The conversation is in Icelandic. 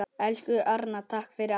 Elsku Arnar, takk fyrir allt.